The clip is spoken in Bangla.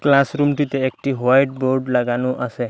ক্লাসরুমটিতে একটি হোয়াইট বোর্ড লাগানো আসে।